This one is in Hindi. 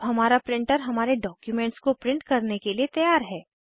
अब हमारा प्रिंटर हमारे डॉक्युमेंट्स को प्रिंट करने के लिए तैयार है